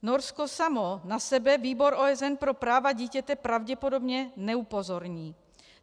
Norsko samo na sebe Výbor OSN pro práva dítěte pravděpodobně neupozorní.